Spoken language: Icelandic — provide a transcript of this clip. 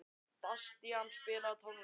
Bastían, spilaðu tónlist.